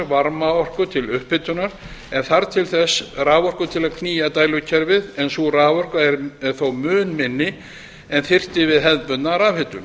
varmaorku til upphitunar en þarf til þess raforku til að knýja dælukerfið en sú raforka er þó mun minni en þyrfti við hefðbundna rafhitun